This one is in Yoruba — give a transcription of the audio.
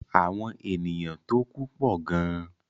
Àwọn ènìyàn tó ku pọ̀ gan.